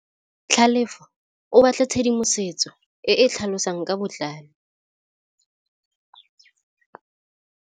Tlhalefô o batla tshedimosetsô e e tlhalosang ka botlalô.